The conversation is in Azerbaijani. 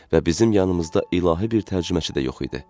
Və bizim yanımızda ilahi bir tərcüməçi də yox idi.